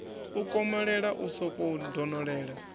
u komolela u sokou donolela